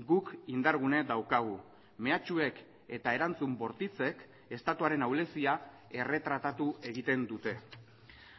guk indargune daukagu mehatxuek eta erantzun bortitzek estatuaren ahulezia erretratatu egiten dute